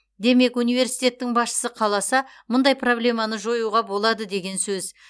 демек университеттің басшысы қаласа мұндай проблеманы жоюға болады деген сөз